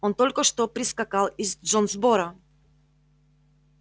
он только что прискакал из джонсборо